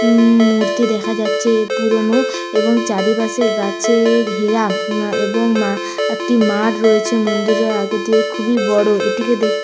ম-ম-ম মূর্তি দেখা যাচ্ছে পুরনো-ও এবং চারিপাশে গাছঅ-এ ঘেরা এবং একটি মাঠ রয়েছে মন্দিরের আগে দিয়ে খুবই বড়। এটিকে দেখতে--